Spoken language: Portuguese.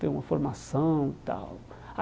Tem uma formação e tal.